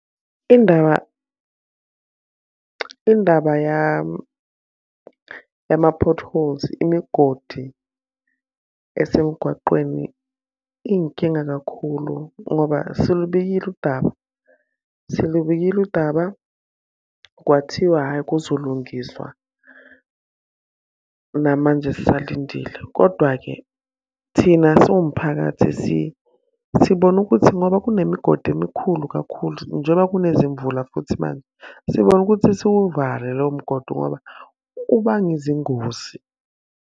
Indaba, indaba yama-potholes imigodi esemgwaqweni iy'nkinga kakhulu ngoba silubikile udaba, silubile udaba, kwathiwa hhayi kuzolungiswa. Namanje sisalindile kodwa-ke thina siwumphakathi sibone ukuthi ngoba kunemigodi emikhulu kakhulu njengoba kunezimvula futhi manje, sibone ukuthi siwuvale lowo mgodi ngoba ubanga izingozi.